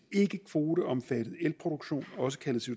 ikkekvoteomfattet elproduktion også kaldet